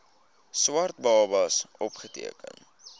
swart babas opgeteken